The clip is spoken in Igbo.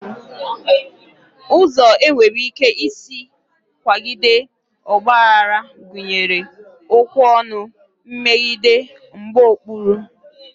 Ụzọ e nwere ike isi kwalite ọgbaghara gụnyere okwu ọnụ, mmegide, mgbaokpuru